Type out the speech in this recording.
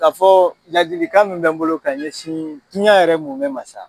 Ka fɔ laadilikan mun be n bolo ka ɲɛsin diɲɛ yɛrɛ mumɛ ma sa